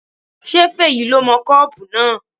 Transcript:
Ṣé Fèyí le mọ kọ́pù náà?